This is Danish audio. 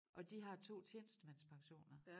Og de har 2 tjenestemandspensioner